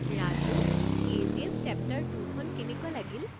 Raju, KGF chapter two খন কেনেকুৱা লাগিল?